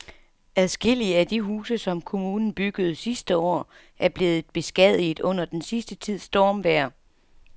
Adskillige af de huse, som kommunen byggede sidste år, er blevet beskadiget under den sidste tids stormvejr.